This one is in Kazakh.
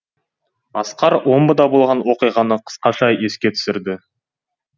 асқар омбыда болған оқиғаны қысқаша еске түсірді